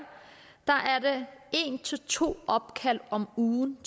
er en to opkald om ugen